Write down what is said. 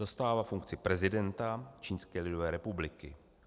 Zastává funkci prezidenta Čínské lidové republiky.